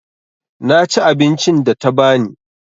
Na ci abincin da ta ba ni.